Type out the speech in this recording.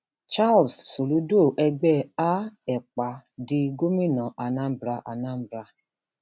charles soludo ẹgbẹ a epa di gómìnà anambra anambra